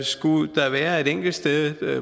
skulle der være et enkelt sted